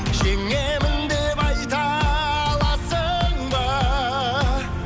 жеңемін деп айта аласың ба